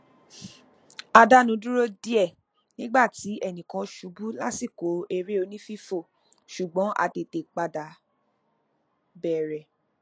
a dánu dúró díẹ nígbà tí ẹnìkan ṣubú lásìkò eré onífífò ṣùgbọn a tètè padà bẹrẹ